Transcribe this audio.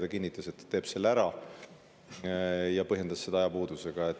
Ta kinnitas, et ta teeb selle ära, ja põhjendas ajapuudusega.